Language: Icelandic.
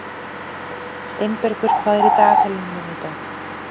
Steinbergur, hvað er í dagatalinu mínu í dag?